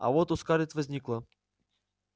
а вот у скарлетт возникло